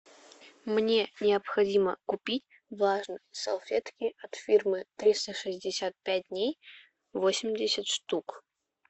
мне необходимо купить влажные салфетки от фирмы триста шестьдесят пять дней восемьдесят штук